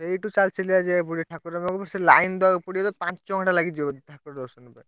ସେଇଠୁ ଚାଲିଚାଲିକା ଯିବାକୁ ପଡିବ ଠାକୁର ପାଖକୁ ସେ line ଦବାକୁ ପଡିବ ପାଞ୍ଚଘଣ୍ଟା ଲାଗିଯିବ ବୋଧେ ଠାକୁର ଦର୍ଶନ କରିଆ।